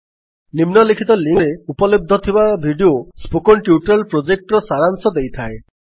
ନିମ୍ନଲିଖିତ ଲିଙ୍କ୍ ରେ ଉପଲବ୍ଧ ଥିବା ଭିଡିଓ ସ୍ପୋକନ୍ ଟ୍ୟୁଟୋରିଆଲ୍ ପ୍ରୋଜେକ୍ଟର ସାରାଂଶ ଦେଇଥାଏ